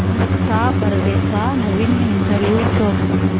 मुक्ता बर्वेचा नवीन इंटरव्ह्यु शोध